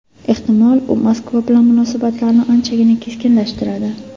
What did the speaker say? Ehtimol, u Moskva bilan munosabatlarni anchagina keskinlashtiradi.